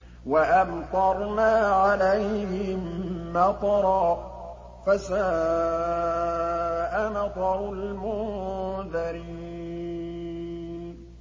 وَأَمْطَرْنَا عَلَيْهِم مَّطَرًا ۖ فَسَاءَ مَطَرُ الْمُنذَرِينَ